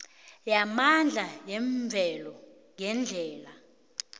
yamandla yemvelo ngendlela